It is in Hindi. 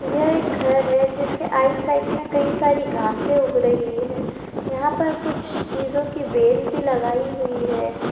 ये एक घर है जिसके आइड साइड में कई सारी घासे उग रही है यहाँ पर कुछ चीज़ों की बेल भी लगाई हुई है।